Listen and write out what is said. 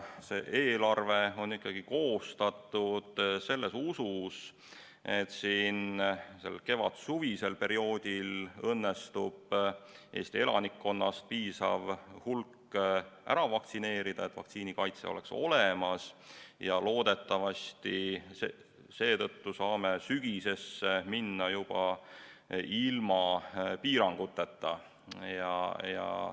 See eelarve on ikkagi koostatud selles usus, et kevadsuvisel perioodil õnnestub Eesti elanikkonnast piisav hulk ära vaktsineerida, et vaktsiinikaitse oleks olemas, ja loodetavasti saame sügisesse minna juba ilma piiranguteta.